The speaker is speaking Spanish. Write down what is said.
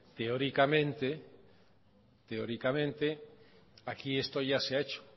teóricamente aquí esto ya se ha hecho